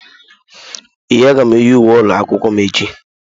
Ee, aga m eyi uwe ụlọ akwụkwọ m echi.